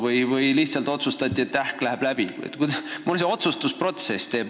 Või siis lihtsalt otsustati, et ehk läheb läbi.